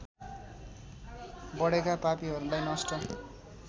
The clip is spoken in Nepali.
बढेका पापीहरूलाई नष्ट